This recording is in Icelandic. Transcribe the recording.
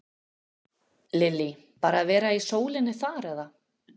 Lillý: Bara að vera í sólinni þar eða?